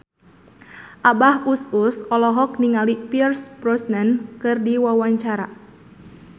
Abah Us Us olohok ningali Pierce Brosnan keur diwawancara